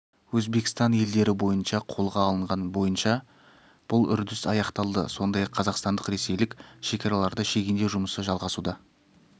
өзбекстан елдері бойынша қолға алынған бойынша бұл үрдіс аяқталды сондай-ақ қазақстандық-ресейлік шекараларды шегендеу жұмысы жалғасуда